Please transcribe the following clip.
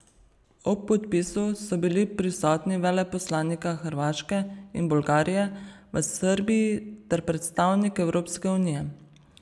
Ob podpisu so bili prisotni veleposlanika Hrvaške in Bolgarije v Srbiji ter predstavnik Evropske unije.